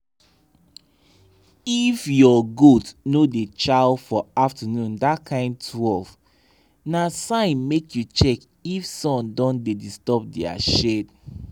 if your goat no da chaw for afternoon dat kind twelve na sign make you check if sun don da disturb dia shade